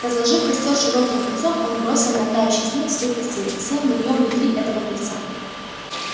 разложив костёр широким кольцом он бросил на тающий снег свою постель и сел на неё внутри этого кольца